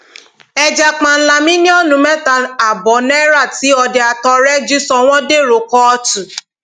ẹja páńlá mílíọnù mẹta ààbọ náírà tí ọdẹ àtọrẹ ẹ jí sọ wọn dèrò kóòtù